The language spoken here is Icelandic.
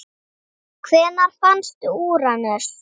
Hvenær fannst Úranus?